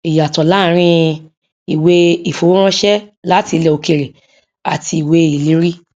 ìyàtọ láàárín ìwé ìfowóránṣẹ láti ilẹ òkèèrè àti ìwé ìlérí